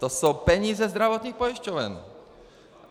To jsou peníze zdravotních pojišťoven.